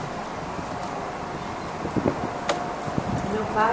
E qual era a atividade? o meu pai